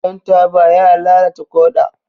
Shan taba yana lalata ƙoda.